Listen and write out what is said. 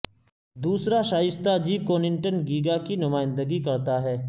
دوسرا شائستہ جی کنونٹن گیگا کی نمائندگی کرتا ہے